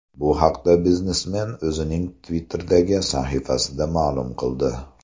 Bu haqda biznesmen o‘zining Twitter’dagi sahifasida ma’lum qildi .